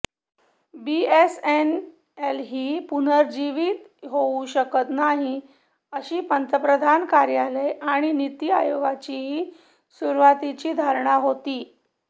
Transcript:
BSNL ही पुनरूज्जीवीत होऊ शकत नाही अशी पंतप्रधान कार्यालय आणि नीती आयोगाचीही सुरूवातीची धारणा होती